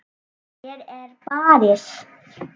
Hér er barist.